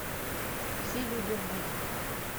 все люди лгут